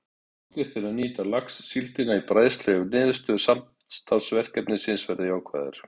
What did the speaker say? Ráðgert er að nýta laxsíldina í bræðslu ef niðurstöður samstarfsverkefnisins verða jákvæðar.